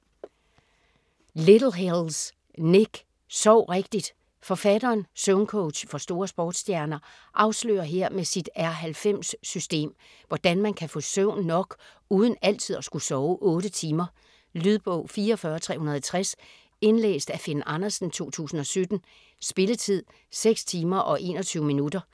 Littlehales, Nick: Sov rigtigt Forfatteren, søvncoach for store sportsstjerner, afslører her med sit R90-system, hvordan man kan få søvn nok uden altid at skulle sove 8 timer. Lydbog 44360 Indlæst af Finn Andersen, 2017. Spilletid: 6 timer, 21 minutter.